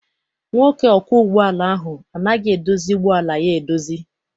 Nwoke ọkwọ ụgbọala ahụ anaghị edozi ụgbọala ya edozi.